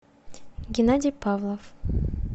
геннадий павлов